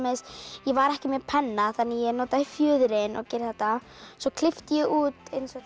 ég var ekki með penna ég notaði fjöðrina að gera þetta svo klippti ég út